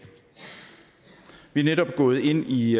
vi er netop gået ind i